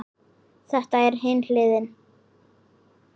Það er hin hliðin.